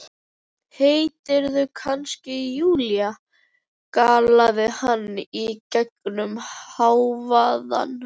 Heitirðu kannski Júlía? galaði hann í gegnum hávaðann.